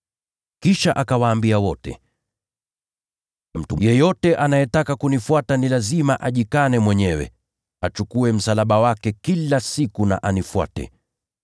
Kisha akawaambia wote, “Mtu yeyote akitaka kunifuata, ni lazima ajikane mwenyewe, auchukue msalaba wake kila siku, anifuate.